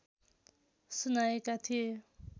सुनाएका थिए